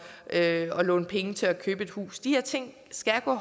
at låne penge til at købe et hus de her ting skal gå